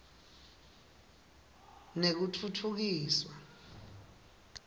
nekutfutfukiswa